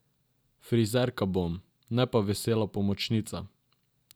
Frizerka bom, ne pa Vesela pomočnica.